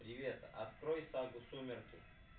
привет открой сагу сумерки